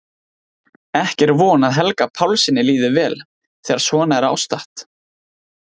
Ekki er von að Helga Pálssyni líði vel þegar svona er ástatt.